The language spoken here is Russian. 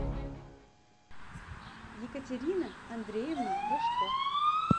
екатерина андреевна рожко